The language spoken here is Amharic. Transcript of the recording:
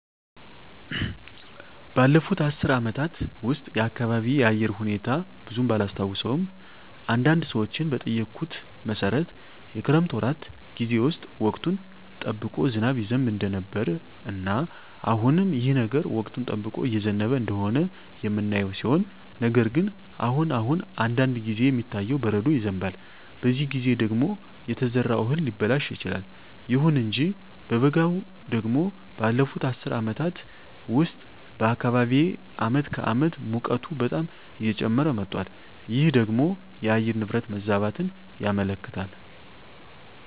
ባለፉት አስር አመታት ውስጥ የአካባቢየ የአየር ሁኔታ ብዙም ባላስታውሰውም አንዳንድ ሰዎችን በጠየኩት መሠረት የክረምት ወራት ጌዜ ውስጥ ወቅቱን ጠብቆ ዝናብ ይዘንብ እንደነበረ እና አሁንም ይህ ነገር ወቅቱን ጠብቆ እየዘነበ እንደሆነ የምናየው ሲሆን ነገር ግን አሁን አሁን አንዳንድ ጊዜ የሚታየው በረዶ ይዘንባል በዚህ ጊዜ ደግሞ የተዘራው እህል ሊበላሽ ይችላል። ይሁን እንጂ በበጋው ደግሞ ባለፋት አስር አመታት ውስጥ በአካባቢየ አመት ከአመት ሙቀቱ በጣም እየጨመረ መጧል ይህ ደግሞ የአየር ንብረት መዛባትን ያመለክታል